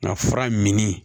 Nka fura min